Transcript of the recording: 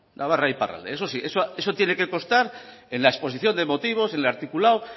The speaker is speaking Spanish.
iparralde eso sí eso tiene que constar en la exposición de motivos en el articulado